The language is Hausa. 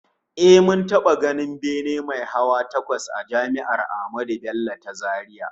Eh, mun taba ganin bene mai hawa takwas a Jami'ar Ahmadu Bello ta Zaria